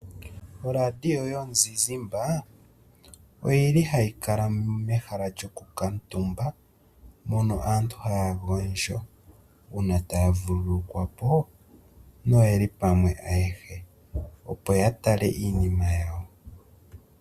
Oradio yomuzizimbe oyili hayi kala mehala lyokukuutumba mono aantu haya gondjo uuna taya vululukwapo noyeli pamwe ayehe, opo ya tale iinima yawo.